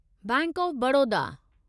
bank of Baroda